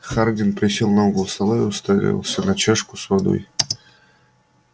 хардин присел на угол стола и уставился на чашку с водой